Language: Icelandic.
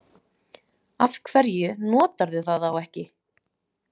Af hverju notarðu það þá ekki?